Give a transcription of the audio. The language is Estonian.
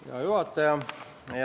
Hea juhataja!